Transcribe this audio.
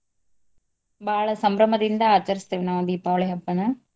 ಬಾಳ ಸಂಭ್ರಮದಿಂದ ಆಚಾರ್ಸ್ಧೆವೆ ನಾವ್ ದೀಪಾವಳಿ ಹಬ್ಬನ.